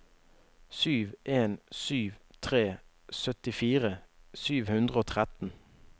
sju en sju tre syttifire sju hundre og tretten